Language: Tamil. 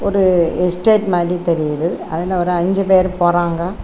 ஒரு எஸ்டேட் மாதிரி தெரியுது அதுல ஒரு அஞ்சி பேரு போறாங்க.